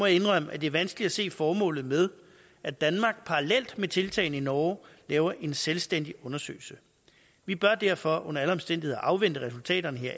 indrømme at det er vanskeligt at se formålet med at danmark parallelt med tiltagene i norge laver en selvstændig undersøgelse vi bør derfor under alle omstændigheder afvente resultaterne